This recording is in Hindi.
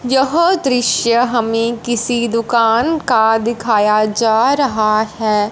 यह दृश्य हमें किसी दुकान का दिखाया जा रहा है।